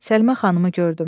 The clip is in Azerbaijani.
Səlimə xanımı gördüm.